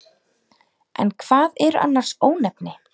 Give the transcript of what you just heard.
En hvað eru annars ónefni?